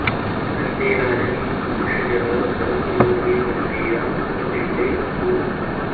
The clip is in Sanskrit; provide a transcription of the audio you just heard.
श॒तं ते॑ राजन् भि॒षजः॑ स॒हस्र॑मु॒र्वी ग॑म्भी॒रा सु॑म॒तिष्टे॑ अस्तु